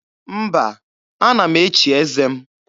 Mba, ana m echi eze m.